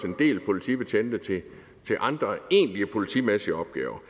en del politibetjente til andre egentlige politimæssige opgaver